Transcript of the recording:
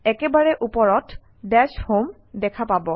একেবাৰে ওপৰত ডাছমে দেখা পাব